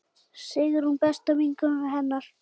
Sigrún besta vinkona hennar.